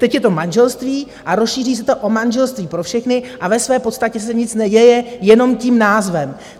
Teď je to manželství a rozšíří se to o manželství pro všechny a ve své podstatě se nic neděje, jenom tím názvem.